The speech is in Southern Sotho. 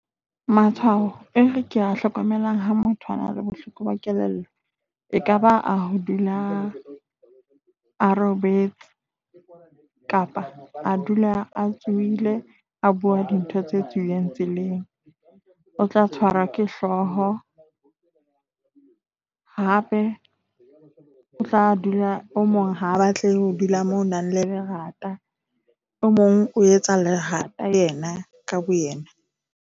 Matshwao e ke ya hlokomelang ha motho a na le bohloko ba kelello, ekaba a ho dula a robetse kapa a dula a tsohile, a bua dintho tse tswileng tseleng. O tla tshwarwa ke hlooho. Hape o tla dula o mong ha batle ho dula moo nang le lerata, o mong o etsa lerata yena ka boyena.